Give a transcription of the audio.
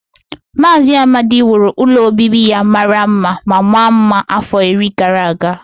Maazị Amadi wuru ụlọ obibi ya mara mma ma maa mma afọ iri gara aga